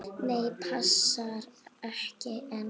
Nei, passar ekki enn!